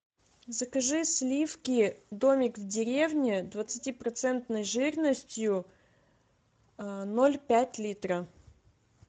закажи сливки домик в деревне двадцати процентной жирностью ноль пять литра